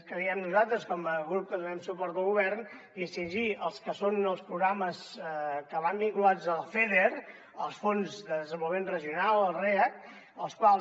creiem nosaltres com a grup que donem suport al govern distingir hi el que són els programes que van vinculats al feder els fons de desenvolupament regional els react els quals